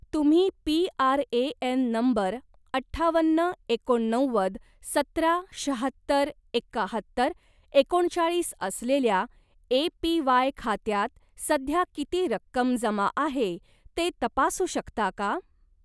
तुम्ही पी.आर.ए.एन नंबर अठ्ठावन्न एकोणनव्वद सतरा शाहत्तर एकाहत्तर एकोणचाळीस असलेल्या ए.पी.वाय. खात्यात सध्या किती रक्कम जमा आहे ते तपासू शकता का?